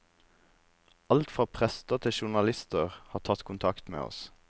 Alt fra prester til journalister har tatt kontakt med oss.